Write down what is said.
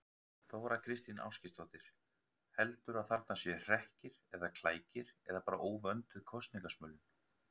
Þóra Kristín Ásgeirsdóttir: Heldurðu að þarna séu hrekkir eða klækir eða bara óvönduð kosningasmölun?